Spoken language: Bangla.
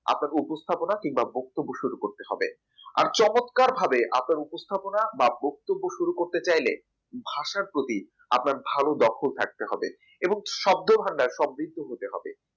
আপনাকে উপস্থাপনা কিংবা বক্তব্য শুরু করতে হবে আর চমৎকারভাবে আপনার উপস্থাপনা বা বক্তব্য শুরু করতে চাইলে ভাষার প্রতি আপনার ভাল দক্ষ থাকতে হবে এবং শব্দভাণ্ডার সমৃদ্ধ হতে হবে